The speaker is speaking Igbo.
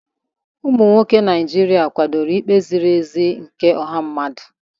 Ụmụ nwoke ndị Naijiria kwadoro ikpe ziri ezi nke ọha mmadụ.